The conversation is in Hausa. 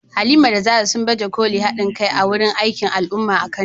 Halima da Zarah, sun baje kolin haɗin kai a wani aikin al’umma a Kano.